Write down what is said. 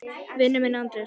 Vinur minn Andrés!